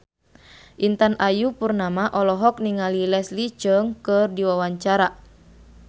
Intan Ayu Purnama olohok ningali Leslie Cheung keur diwawancara